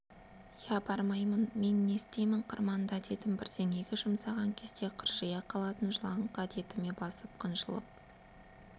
иә бармаймын мен не істеймін қырманда дедім бірдеңеге жұмсаған кезде қыржия қалатын жылаңқы әдетіме басып қынжылып